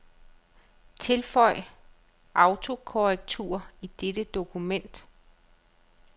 Tilføj autokorrektur i dette dokument.